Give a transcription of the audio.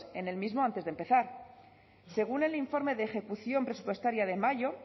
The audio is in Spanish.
en el mismo antes de empezar según el informe de ejecución presupuestaria de mayo